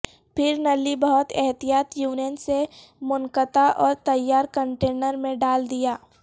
پھر نلی بہت احتیاط یونین سے منقطع اور تیار کنٹینر میں ڈال دیا